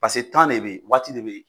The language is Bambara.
Paseke de bɛ ye waati de bɛ ye.